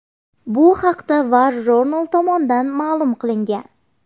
Bu haqda WarJournal tomonidan ma’lum qilingan .